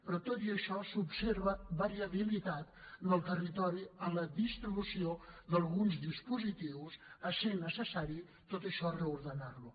però tot i això s’observa variabilitat en el territori en la distribució d’alguns dispositius i és necessari tot això reordenar ho